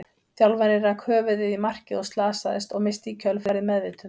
Þjálfarinn rak höfuðið í markið og slasaðist, og missti í kjölfarið meðvitund.